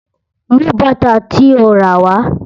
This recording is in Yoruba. Mú bàtà tí o ràwá.